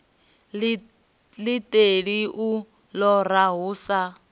iṱeli u lora hu sa